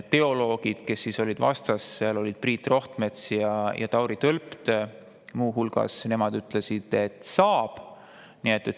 Teoloogid, kes olid vastas, muu hulgas Priit Rohtmets ja Tauri Tölpt, ütlesid, et saab.